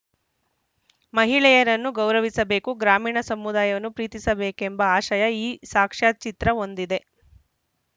ಮಹಿಳೆಯರನ್ನು ಗೌರವಿಸಬೇಕು ಗ್ರಾಮೀಣ ಸಮುದಾಯವನ್ನು ಪ್ರೀತಿಸಬೇಕೆಂಬ ಆಶಯ ಈ ಸಾಕ್ಷ್ಯಚಿತ್ರ ಹೊಂದಿದೆ